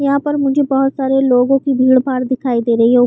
यहा पर मुझे बहोत सारे लोगो की भीड़-भाड़ दिखाई दे रही है। उप--